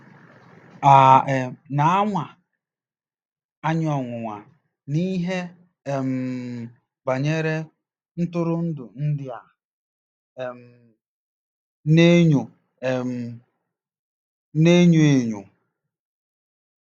À um na-anwa anyị ọnwụnwa n'ihe um banyere ntụrụndụ ndị a um na-enyo um na-enyo enyo?